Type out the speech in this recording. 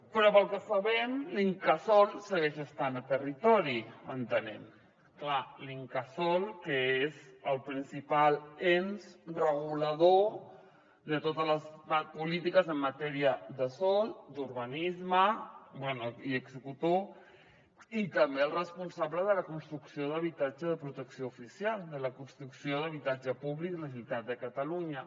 però pel que sabem l’incasòl segueix estant a territori entenem clar l’incasòl que és el principal ens regulador de totes les polítiques en matèria de sòl d’urbanisme bé i executor i també el responsable de la construcció d’habitatge de protecció oficial de la construcció d’habitatge públic de la generalitat de catalunya